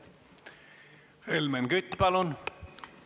Helmen Kütt, palun!